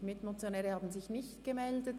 Es haben sich keine Mitmotionäre gemeldet.